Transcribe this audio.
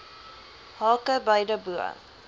hake beide bo